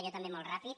jo també molt ràpid